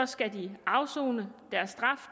skal de afsone deres straf